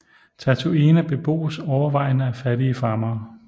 Tatooine beboes overvejende af fattige farmere